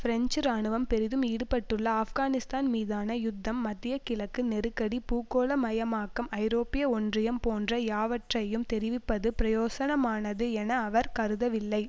French இராணுவம் பெரிதும் ஈடுபட்டுள்ள ஆப்கானிஸ்தான் மீதான யுத்தம் மத்திய கிழக்கு நெருக்கடி பூகோள மயமாக்கம் ஐரோப்பிய ஒன்றியம் போன்ற யாவற்றையும் தெரிவிப்பது பிரயோசனமானது என அவர் கருதவில்லை